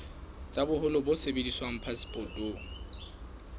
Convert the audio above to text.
tsa boholo bo sebediswang phasepotong